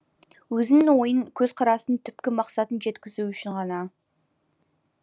өзінің ойын көзқарасын түпкі мақсатын жеткізу үшін ғана